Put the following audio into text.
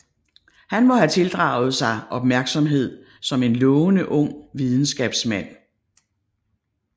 Han må have tildraget sig opmærksomhed som en lovende ung videnskabsmand